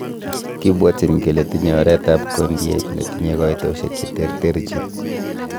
Kibwotyin kele tinye oretab kondiet netinye koitosiek cheterterchin.